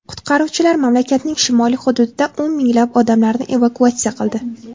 Qutqaruvchilar mamlakatning shimoliy hududida o‘n minglab odamlarni evakuatsiya qildi.